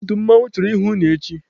Ndị otu mmanwụ chọrọ ịhụ unu echi!